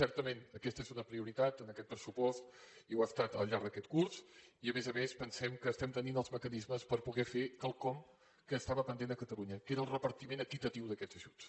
certament aquesta és una prioritat en aquest pressupost i ho ha estat al llarg d’aquest curs i a més a més pensem que estem tenint els mecanismes per poder fer quelcom que estava pendent a catalunya que era el repartiment equitatiu d’aquests ajuts